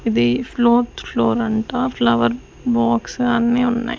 ఇది fourth floor అంట flower box అన్నీ ఉన్నయ్.